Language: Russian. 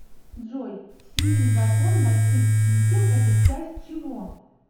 джой сильный закон больших чисел это часть чего